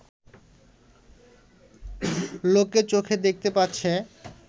লোকে চোখে দেখতে পাচ্ছে